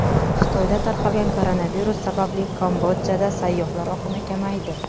Xitoyda tarqalgan koronavirus sababli Kambodjada sayyohlar oqimi kamaydi .